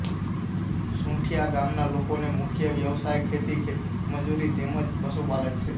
સુંઠીયા ગામના લોકોનો મુખ્ય વ્યવસાય ખેતી ખેતમજૂરી તેમ જ પશુપાલન છે